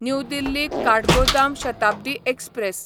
new Delhi Kathgodam Shatabdi express